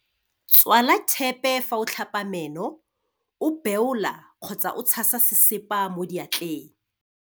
Tswala thepe fa o tlhapa meno, o beola kgotsa o tshasa sesepa mo diatleng.